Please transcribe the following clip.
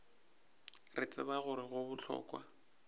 re tseba gore go bohlokwa